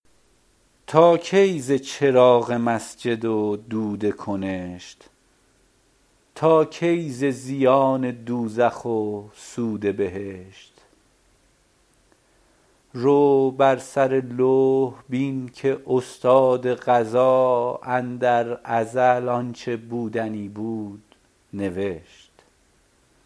تا کی ز چراغ مسجد و دود کنشت تا کی ز زیان دوزخ و سود بهشت رو بر سر لوح بین که استاد قضا اندر ازل آنچه بودنی بود نوشت